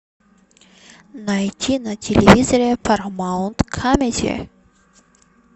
найти на телевизоре парамаунт камеди